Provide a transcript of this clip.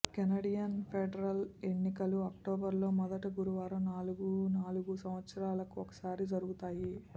Canadian federal ఎన్నికలు అక్టోబర్లో మొదట గురువారం నాలుగు నాలుగు సంవత్సరాలకు ఒకసారి జరుగుతాయి